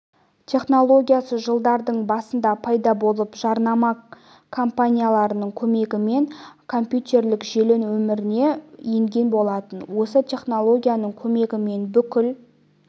технологиясы жылдардың басында пайда болып жарнама компанияларының көмегімен компьютерлік желі өміріне енген болатын осы технологияның көмегімен бүкіл